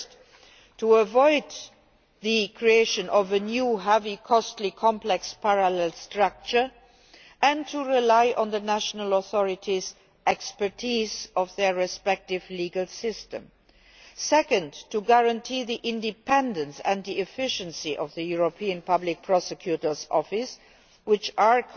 Firstly, in order to avoid the creation of a new heavy, costly, complex parallel structure and to rely on the national authorities' expertise in their respective legal systems, and secondly, to guarantee the independence and efficiency of the European Public Prosecutor's Office, which are